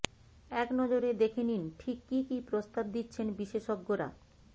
একনজরে দেখে নি ঠিক কি কি প্রস্তাব দিচ্ছেন বিশেষজ্ঞরা